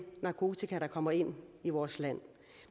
narkotika der kommer ind i vores land